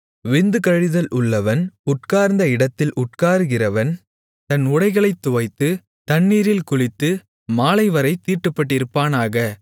விந்து கழிதல் உள்ளவன் உட்கார்ந்த இடத்தில் உட்காருகிறவன் தன் உடைகளைத் துவைத்து தண்ணீரில் குளித்து மாலைவரைத் தீட்டுப்பட்டிருப்பானாக